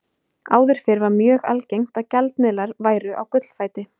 Áður fyrr var mjög algengt að gjaldmiðlar væru á gullfæti.